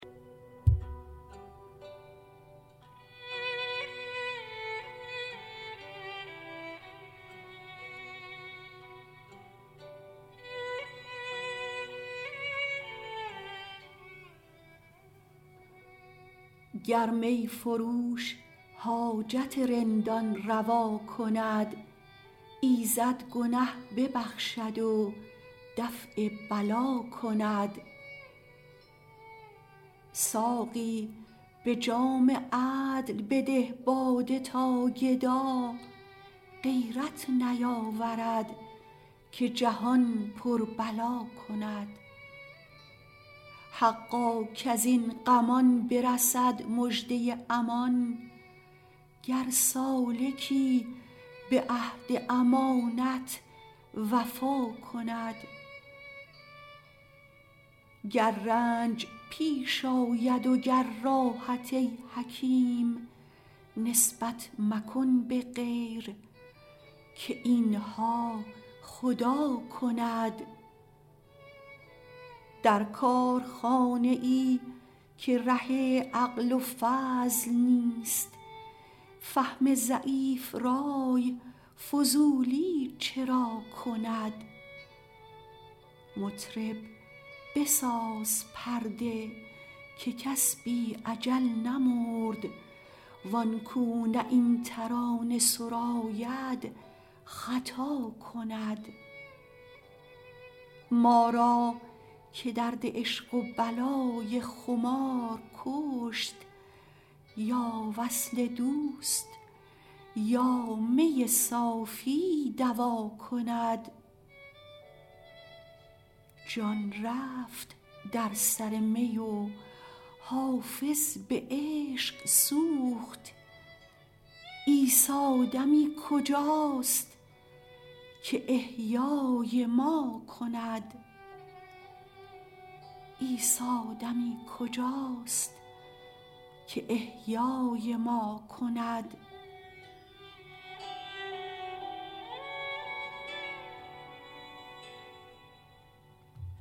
گر می فروش حاجت رندان روا کند ایزد گنه ببخشد و دفع بلا کند ساقی به جام عدل بده باده تا گدا غیرت نیاورد که جهان پر بلا کند حقا کز این غمان برسد مژده امان گر سالکی به عهد امانت وفا کند گر رنج پیش آید و گر راحت ای حکیم نسبت مکن به غیر که این ها خدا کند در کارخانه ای که ره عقل و فضل نیست فهم ضعیف رای فضولی چرا کند مطرب بساز پرده که کس بی اجل نمرد وان کو نه این ترانه سراید خطا کند ما را که درد عشق و بلای خمار کشت یا وصل دوست یا می صافی دوا کند جان رفت در سر می و حافظ به عشق سوخت عیسی دمی کجاست که احیای ما کند